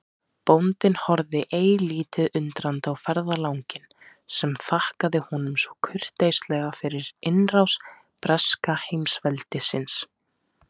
Bóndinn horfði eilítið undrandi á ferðalanginn sem þakkaði honum svo kurteislega fyrir innrás breska heimsveldisins.